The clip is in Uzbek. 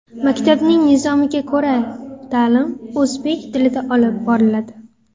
Maktabning nizomiga ko‘ra, ta’lim o‘zbek tilida olib boriladi.